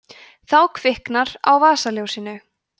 þá kviknar á vasaljósinu